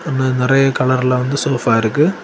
அண்ணு நெறைய கலர்ல வந்து சோஃபா இருக்கு.